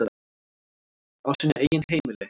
Á sínu eigin heimili.